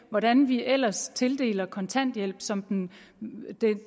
hvordan vi ellers tildeler kontanthjælp som den